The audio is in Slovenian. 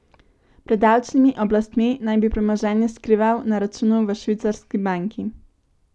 Pred davčnimi oblastmi naj bi premoženje skrival na računu v švicarski banki.